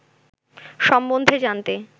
সম্বন্ধে জানতে